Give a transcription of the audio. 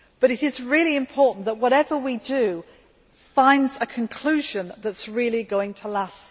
It is really important that whatever we do finds a conclusion that is really going to last.